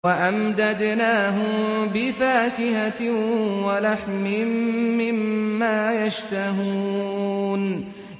وَأَمْدَدْنَاهُم بِفَاكِهَةٍ وَلَحْمٍ مِّمَّا يَشْتَهُونَ